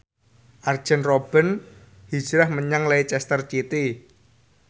Arjen Robben hijrah menyang Leicester City